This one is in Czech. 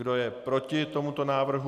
Kdo je proti tomuto návrhu?